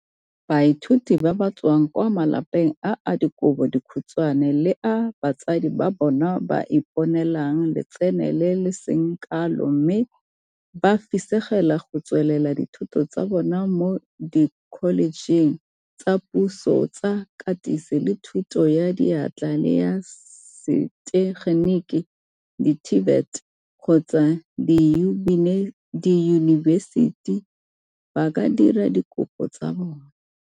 Baithuti ba ba tswang kwa malapeng a a dikobo dikhutshwane le a batsadi ba bona ba iponelang letseno le le seng kalo mme ba fisegela go tsweletsa dithuto tsa bona mo dikholejeng tsa puso tsa Katiso le Thuto ya Diatla le ya Setegenik di-TVET kgotsa diyunibesiti ba ka dira dikopo tsa bona.